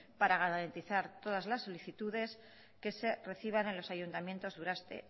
para garantizar todas las solicitudes que se reciban en los ayuntamientos durante